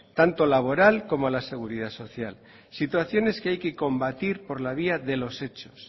tanto laboral como a la seguridad social situaciones que hay que combatir por la vía de los hechos